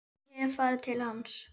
Ég hef farið til hans.